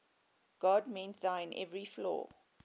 god mend thine every flaw